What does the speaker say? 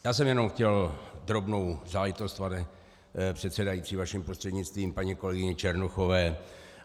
Já jsem jenom chtěl drobnou záležitost, pane předsedající, vaším prostřednictvím paní kolegyni Černochové.